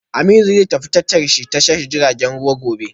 Aminu zai tafi tashar ji ta tashar jiragen ruwa gobe